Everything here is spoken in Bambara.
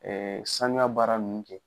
sanuya baara nun kɛ.